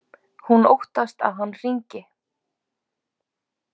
Hún óttast að hann hringi.